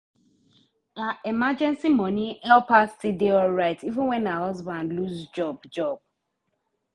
her emergency money help her still dey alright even when her husband lose job. job.